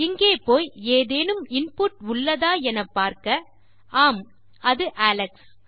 இங்கே போய் ஏதேனும் இன்புட் உள்ளதா என பார்க்க ஆம் அது அலெக்ஸ்